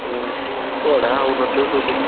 ଉଁ ପଢାହଉନଥିବ ।